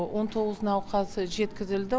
он тоғыз науқас жеткізілді